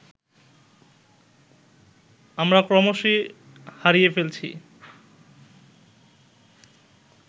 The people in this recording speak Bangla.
আমরা ক্রমশই হারিয়ে ফেলছি